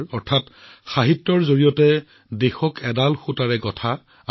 ইয়াৰ অৰ্থ হৈছে সাহিত্যৰ জৰিয়তে দেশক এডাল সুতাৰে সংযোগ কৰা